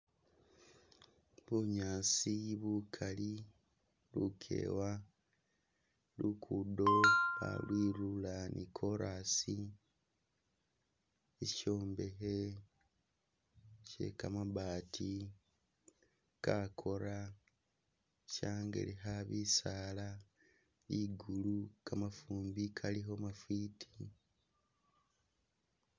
Bunyaasi bukali, lukewa, luguddo balwilula ni'chorus sishombekhe she'kamabaati kakora shangelekha bisaala, ligulu kamafumbi kaalikho mafwiti